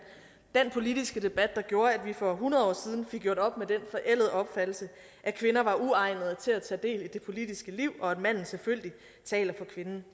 den politiske debat der gjorde at vi for hundrede år siden fik gjort op med den forældede opfattelse at kvinder var uegnede til at tage del i det politiske liv og at manden selvfølgelig taler for kvinden